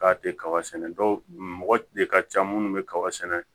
K'a tɛ kaba sɛnɛ mɔgɔ de ka ca minnu bɛ kaba sɛnɛ